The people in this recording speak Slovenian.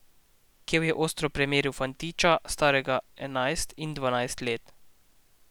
Kev je ostro premeril fantiča, starega enajst ali dvanajst let.